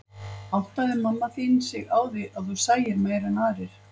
Áttaði mamma þín sig á því að þú sæir meira en aðrir?